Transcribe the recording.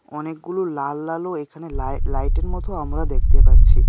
অনেকগুলো লাল লালও এখানে লাই-লাইটের মতো আমরা দেখতে পাচ্ছি .